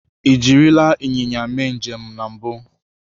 Ị jirila ịnyịnya mee njem na mbụ?